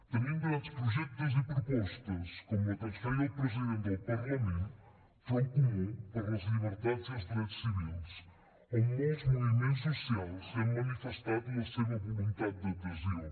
tenim grans projectes i propostes com la que ens feia el president del parlament front comú per les llibertats i els drets civils on molts moviments socials ja han manifestat la seva voluntat d’adhesió